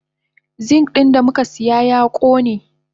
Zink din damukasiya ya kone.